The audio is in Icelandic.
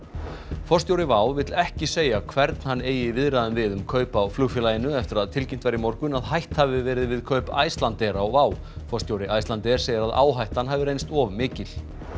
forstjóri WOW vill ekki segja hvern hann eigi í viðræðum við um kaup á flugfélaginu eftir að tilkynnt var í morgun að hætt hafi verið við kaup Icelandair á WOW forstjóri Icelandair segir að áhættan hafi reynst of mikil